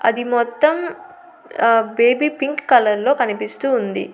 అది మొత్తం ఆ బేబీ పింక్ కలర్లో కనిపిస్తూ ఉంది.